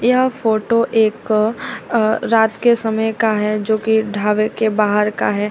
यह फोटो एक अ रात के समय का है जो की ढाबे के बाहर का है।